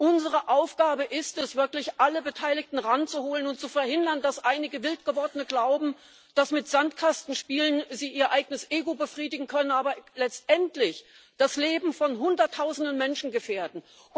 Unsere Aufgabe ist es, wirklich alle Beteiligten heranzuholen und zu verhindern, dass einige wild Gewordene glauben, dass sie mit Sandkastenspielen ihr eigenes Ego befriedigen können, aber letztendlich das Leben von Hunderttausenden Menschen gefährden.